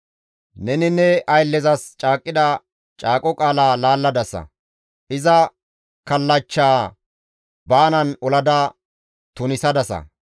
Neni ne ayllezas caaqqida caaqo qaala laalladasa; iza kallachcha baanan olada tunisadasa.